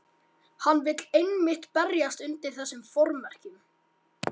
Hann vill einmitt berjast undir þessum formerkjum.